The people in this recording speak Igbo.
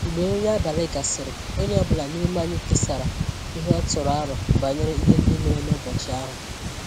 Mgbe nri abalị gasịrị, onye ọ bụla n’ime anyị kesara ihe ọ tụrụ aro banyere ihe ndị mere n’ụbọchị ahụ.